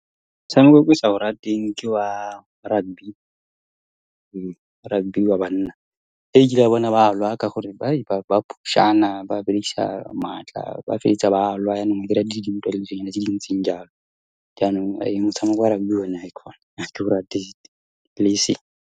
Motshameko o ke sa o ratang ke wa rugby, rugby wa banna. Kile ka bona ba lwa, ka gore ba phush-ana, ba berekisa maatla, ba feleletsa ba lwa, jaanong ba dira dintwa, dilonyana tse di ntseng jalo. Jaanong motshameko wa rugby one, haikhona ha ke o rate, le eseng.